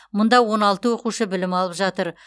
мұнда он алты оқушы білім алып жатыр